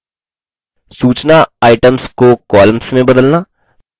4 सूचना items को columns में बदलना